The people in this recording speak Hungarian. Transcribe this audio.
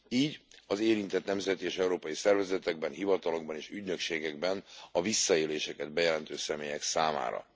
így az érintett nemzeti és európai szervezetekben, hivatalokban és ügynökségekben a visszaéléseket bejelentő személyek számára.